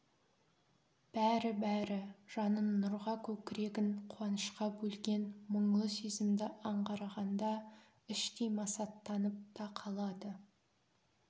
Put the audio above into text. бәрі-бәрі жанын нұрға көкірегін қуанышқа бөлген мұңлы сезімді аңғарғанда іштей масаттанып та қалады